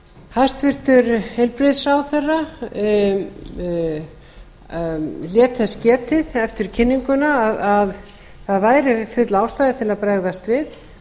hæstvirtur heilbrigðisráðherra lét þess getið eftir kynninguna að það væri full ástæða til að bregðast við